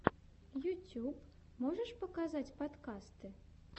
ютьюб можешь показать подкасты